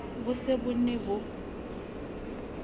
bo se bo ne bo